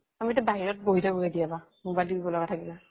আমিটো বাহিৰত বহি থাকো কেতিয়াবা মোবাইল টি্পিব লগা থাকিলে